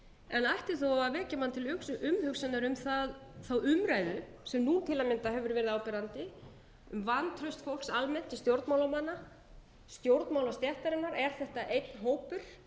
en ætti þó að vekja mann til umhugsunar um umræðuna sem nú til að mynda hefur verið áberandi um vantraust fólks almennt til stjórnmálamanna stjórnmálastéttarinnar er þetta einn hópur